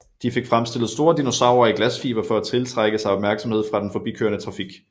De fik fremstillet store dinosaurer i glasfiber for at tiltrække sig opmærksomhed fra den forbikørende trafik